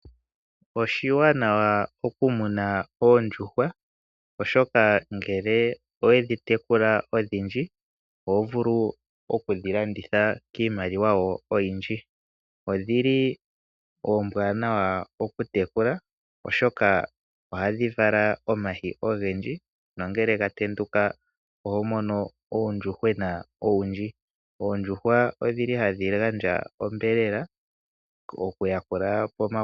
Oshiwanawa okumuna oondjuhwa , oshoka ngele owedhi tekula odhindji oho vulu okudhi landitha kiimaliwa wo oyindji . Odhili oombwanawa okutekulwa oshoka ohadhi vala omayi ogendji nongele gatenduka oho mono uuyuhwena owundji. Oondjuhwa odhili hadhi gandja osheelelwa.